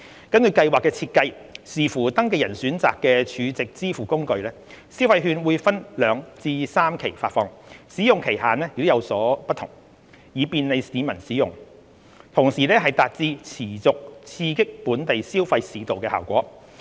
根據計劃的設計，視乎登記人選擇的儲值支付工具，消費券會分兩至三期發放，使用期限亦有所不同，以便利市民使用，同時達致持續刺激本地消費市道的效果。